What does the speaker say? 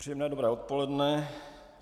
Příjemné dobré odpoledne.